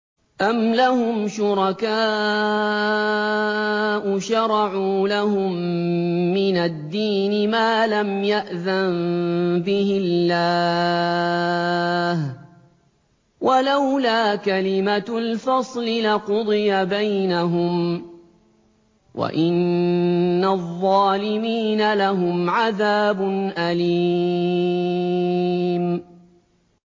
أَمْ لَهُمْ شُرَكَاءُ شَرَعُوا لَهُم مِّنَ الدِّينِ مَا لَمْ يَأْذَن بِهِ اللَّهُ ۚ وَلَوْلَا كَلِمَةُ الْفَصْلِ لَقُضِيَ بَيْنَهُمْ ۗ وَإِنَّ الظَّالِمِينَ لَهُمْ عَذَابٌ أَلِيمٌ